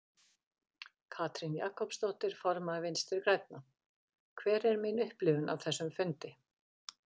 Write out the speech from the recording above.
Katrín Jakobsdóttir, formaður Vinstri grænna: Hver er mín upplifun af þessum fundi?